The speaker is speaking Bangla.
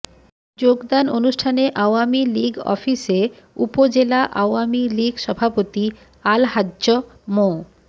যোগদান অনুষ্ঠানে আওয়ামী লীগ অফিসে উপজেলা আওয়ামী লীগ সভাপতি আলহাজ্জ মো